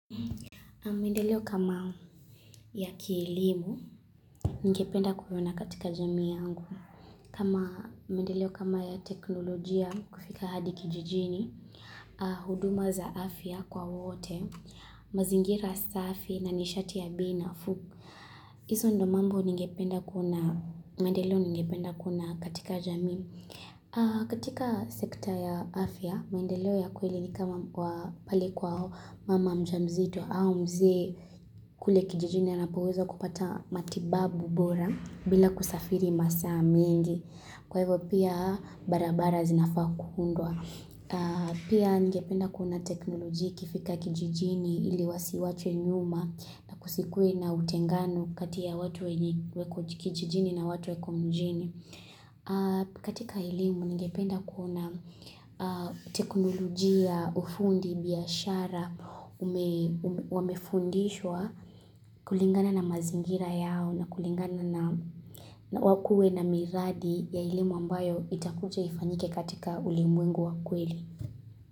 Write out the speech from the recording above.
Maendeleo kama ya kielimu, ningependa kuona katika jamii yangu. Kama mendeleo kama ya teknolojia kufika hadi kijijini, huduma za afya kwa wote, mazingira safi na nishati ya bei nafuu. Hizo ndo mambo ningependa kuona, maendeleo ningependa kuona katika jamii. Katika sekta ya afya, mendeleo ya kweli ni kama pale kwa mama mjamzito au mzee kule kijijini anapoweza kupata matibabu bora bila kusafiri masaa mengi. Kwa hivyo pia barabara zinafaa kuundwa. Pia ningependa kuona teknolojia ikifika kijijini ili wasiachwe nyuma na kusikue na utengano kati ya watu wa kijijini na watu wako mijini. Katika elimu ningependa kuona teknolojia ufundi biashara wamefundishwa kulingana na mazingira yao na kulingana na wakue na miradi ya ilimu ambayo itakuja ifanyike katika ulimwengu wa kweli.